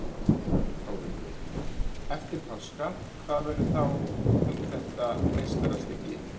Þórhildur: Eftir páska, hvað verður þá um þetta meistarastykki?